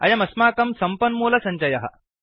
अयमस्माकं सम्पन्मूलसञ्चयः